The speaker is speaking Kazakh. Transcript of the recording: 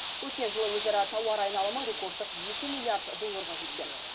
өткен жылы өзара тауар айналымы рекордтық екі милллиард долларға жеткен